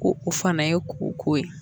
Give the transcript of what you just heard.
Ko o fama ye koko ye.